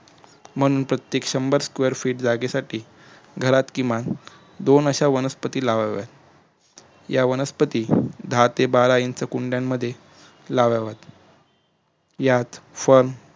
म्हणून प्रत्येक शंभर sequre feet जागेसाठी घरात किमान दोन अश्या वनस्पती लवाव्यात या वनस्पती दहा ते बारा inch कुंड्यांमध्ये लवाव्यात यात firm